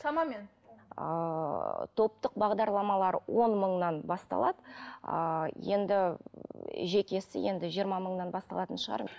шамамен ыыы топтық бағдарламалар он мыңнан басталады а енді жекесі енді жиырма мыңнан басталатын шығар